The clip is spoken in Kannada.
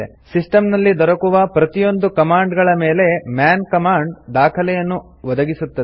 ಸಿಸ್ಟಂನಲ್ಲಿ ದೊರಕುವ ಪ್ರತಿಯೊಂದು ಕಮಾಂಡ್ ಗಳ ಮೇಲೆ ಮನ್ ಕಮಾಂಡ್ ದಾಖಲೆಯನ್ನು ಅನ್ನು ಒದಗಿಸುತ್ತದೆ